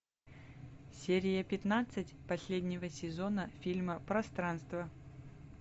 серия пятнадцать последнего сезона фильма пространство